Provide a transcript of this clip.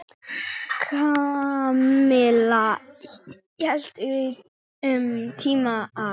Kamilla hélt um tíma að